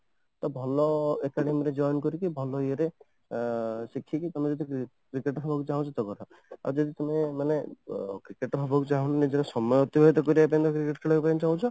ତ ଭଲ academy ରେ join କରିକି ଭଲ ଇୟେ ରେ ଆଁ ସେତିକି ତମେ ଯଦି Cricketer ହବାକୁ ଚାହୁଁଛ ତାହେଲେ ଭଲ କଥା ଆଉ ଯଦି ତମେ ମାନେ Cricketer ହବାକୁ ଚାହୁଁନ ନିଜର ସମୟ ଅତିବାହିତ କରିବା ପାଇଁ ତମେ ଯଦି cricket ଖେଳିବାକୁ ଚାହୁଁଛ